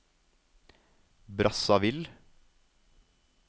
Brazzaville